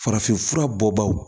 Farafinfura bɔ bagaw